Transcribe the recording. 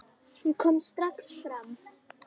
Hún kom strax fram.